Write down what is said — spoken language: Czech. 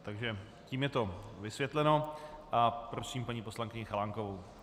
Takže tím je to vysvětleno a prosím paní poslankyni Chalánkovou.